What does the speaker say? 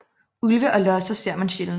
Ulve og losser ser man sjældent